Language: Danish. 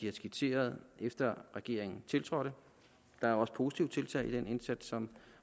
er skitseret efter regeringen tiltrådte der er også positive tiltag i den indsats som